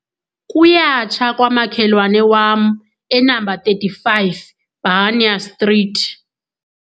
Kuyatsha kwamakhelwane wam enamba thirty-five, Bhanya Street.